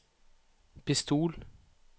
pistol